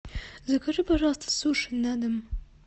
закажи пожалуйста суши на дом